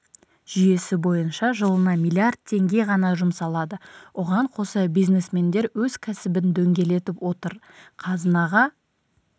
жүйесі бойынша жылына миллиард теңге ғана жұмсалады оған қоса бизнесмендер өз кәсібін дөңгелетіп отыр қазынаға